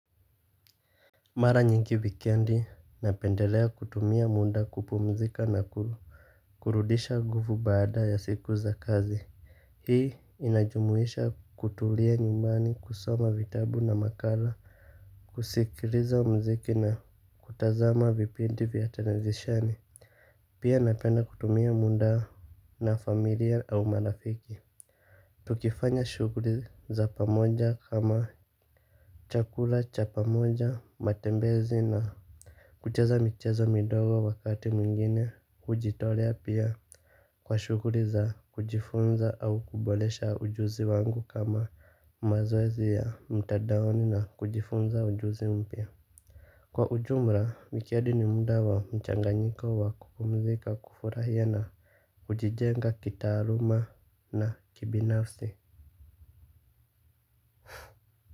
Mara nyingi wikendi napendelea kutumia muda kupumzika na kurudisha nguvu baada ya siku za kazi. Hii inajumuisha kutulia nyumbani kusoma vitabu na makala. Kusikiliza muziki na kutazama vipindi vya televisheni, pia napenda kutumia muda na familia au marafiki. Tukifanya shughuli za pamoja kama chakula cha pamoja matembezi na kucheza michezo midogo wakati mwingine kujitolea pia kwa shughuli za kujifunza au kuboresha ujuzi wangu kama mazoezi ya mtandaoni na kujifunza ujuzi mpya. Kwa ujumla, wikedi ni muda wamchanganyiko wa kupumzika kufurahia na kujijenga kitaaluma na kibinafsi.